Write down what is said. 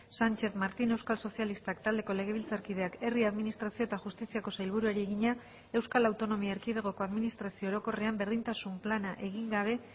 sánchez martín euskal sozialistak taldeko legebiltzarkideak herri administrazio eta justiziako sailburuari egina euskal autonomia erkidegoko administrazio orokorrean berdintasun plana egin gabe